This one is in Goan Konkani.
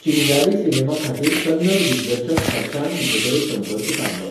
चिंगारी सिनेमा खातीर कन्नड दिग्दर्शक हर्षान तिचे कडेन संपर्क सादलो.